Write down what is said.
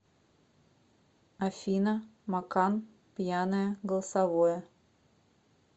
афина макан пьяное голосовое